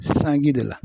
Sanji de la